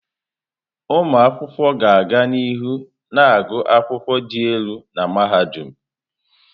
Ụmụ akwụkwọ ga-aga n'ihu na-agụ akwụkwọ dị elu na mahadum.